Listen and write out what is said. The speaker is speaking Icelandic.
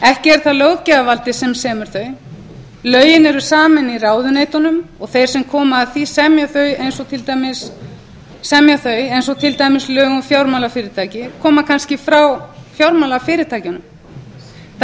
ekki er það löggjafarvaldið sem semur þau lögin eru samin í ráðuneytunum og þeir sem koma að því að semja þau eins og til dæmis lög um fjármálafyrirtæki koma kannski frá fjármálafyrirtækjunum það